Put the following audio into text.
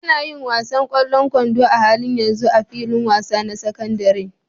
Ana yin wasan ƙwallon kwando a halin yanzu a filin wasa na sakandaren.